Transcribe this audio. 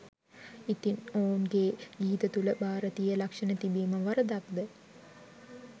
ඉතිං ඔවුගේ ගීත තුල භාරතීය ලක්ෂණ තිබීම වරදක්ද?